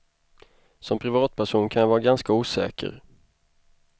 Som privatperson kan jag vara ganska osäker.